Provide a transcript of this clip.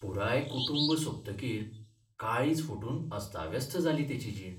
पुराय कुटुंब सोंपतकीर काळीज फुटून अस्ताव्यस्त जाली तेची जीण.